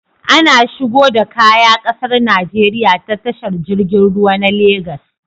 Ana shigo da Kaya ƙasar Nigeria ta tashar jirgin ruwa na Lagos